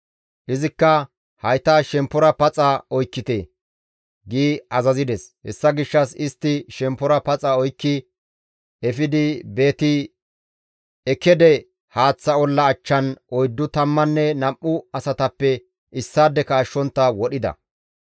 Izikka, «Hayta shemppora paxa oykkite!» gi azazides; hessa gishshas istti shemppora paxa oykki efidi Beet-Ekkede haaththa olla achchan oyddu tammanne nam7u asatappe issaadeka ashshontta wodhida.